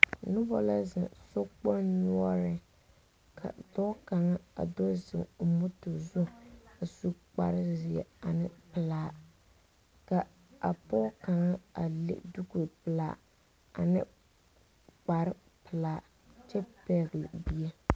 Noba la zeŋ sokpong noure. Ka dɔɔ kanga a do zeŋ o moto zu a su kpare zie ane pulaa. Ka a pɔgɔ kanga a le duku pulaa ane kpare pulaa kyɛ pɛgle bie.